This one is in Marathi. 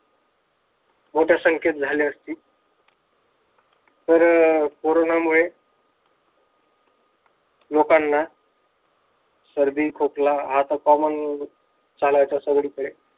मोठ्या संख्येत झाले असतील. तर कोरोनामुळे लोकांना सर्दी, खोकला आता चालायचं सगळीकडे.